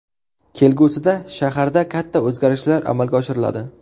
Kelgusida shaharda katta o‘zgarishlar amalga oshiriladi.